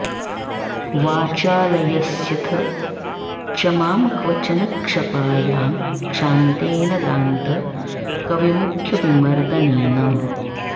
वाचालयस्यथ च मां क्वचन क्षपायां क्षान्तेन दान्त कविमुख्यविमर्दनेन